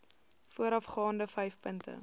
voorafgaande vyf punte